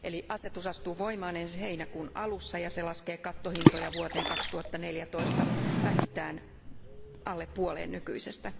Asetus astuu voimaan ensi heinäkuun alussa ja se laskee kattohintoja vuoteen 2014 vähintään alle puoleen nykyisestä.